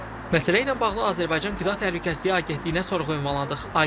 Məsələ ilə bağlı Azərbaycan Qida Təhlükəsizliyi Agentliyinə sorğu ünvanladıq.